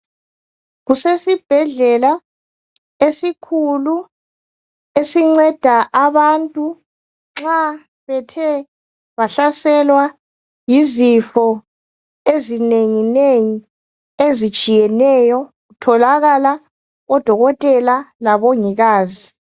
Kusesibhedlela esikhulu esinceda abantu nxa bethe bahlaselwa yizifo ezinenginengi ezitshiyeneyo. Kutholakala odokotela labongikazi.